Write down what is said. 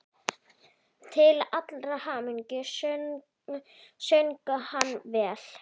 Til allrar hamingju söng hann vel!